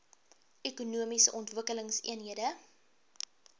ekonomiese ontwikkelingseenhede eoes